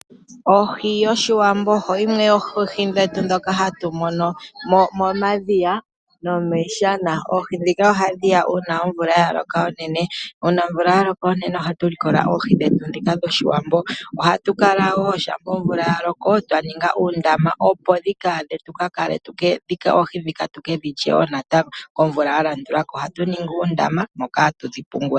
Ohi yOshiwambo oyimwe yoohi dhetu ndhono hatu mono momadhiya nomiishana. Oohi ndhika ohadhi ya uuna omvula ya loka unene. Uuna omvula ya loka unene ohatu likola oohi dhetu dhOshiwambo. Ohatu kala wo shampa omvula ya loko twa ninga uundama, opo oohindhika tuke dhi lye wo natango komvula ya landula ko. Ohatu ningi uundama moka hatu dhi pungula.